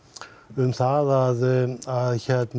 um það að